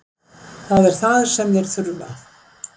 Það er það sem þeir þurfa.